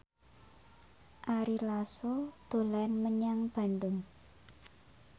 Ari Lasso dolan menyang Bandung